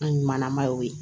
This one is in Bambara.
An ɲumanma ye o ye